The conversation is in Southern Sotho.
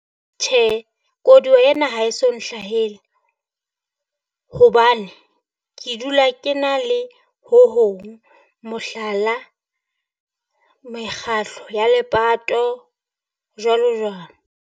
Tjhe, Koduwa ena ha e so nhlahele hobane, ke dula ke na le ho hong, mohlala, mekgatlo ya lepato jwalo jwalo.